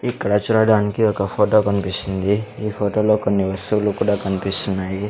ఇక్కడ చూడడానికి ఒక ఫోటో కనిపిస్తుంది ఈ ఫోటోలో కొన్ని వస్తువులు కూడా కనిపిస్తున్నాయి.